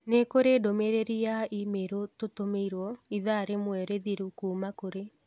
Nĩ kũrĩ ndũmĩrĩri ya i-mīrū tũtũmĩirũo ithaa rĩmwe rĩthirũ kuuma kũ ri